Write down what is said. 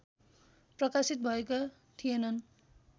प्रकाशित भएका थिएनन्